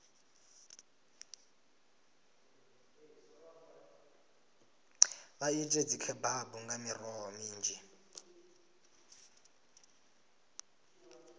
vha ite dzikhebabu nga miroho minzhi